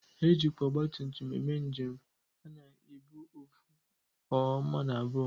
E jikwa ọgbatumtum eme njem a na-ebu ofu or mmadu abụọ.